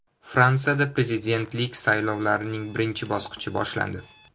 Fransiyada prezidentlik saylovlarining birinchi bosqichi boshlandi.